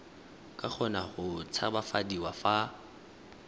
ka kgona go tshabafadiwa fa